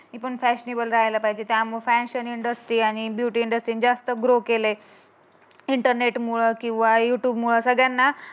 मी पण मी पण फॅशनीबल राहायला पाहिजे. त्यामुळे फॅशन इंडस्ट्री आणि ब्युटी इंडस्ट्री यांनी जास्त ग्रो केलय इंटरनेट मुळे किंवा यू ट्यूब मुळे सगळ्यांना